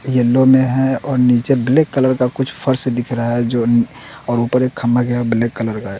Yellow में है और नीचे ब्लैक कलर का कुछ फर्श दिख रहा है जो और ऊपर एक खंभा जो है ब्लैक कलर का है।